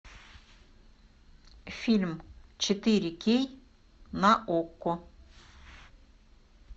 фильм четыре кей на окко